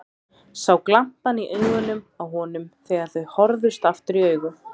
Sá glampann í augunum á honum þegar þau horfðust aftur í augu.